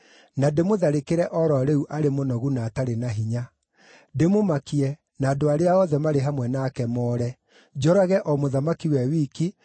Na ndĩmũtharĩkĩre o ro rĩu arĩ mũnogu na atarĩ na hinya. Ndĩmũmakie, na andũ arĩa othe arĩa marĩ hamwe nake moore. Njũrage o mũthamaki we wiki,